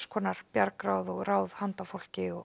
kyns bjargráð og ráð handa fólki og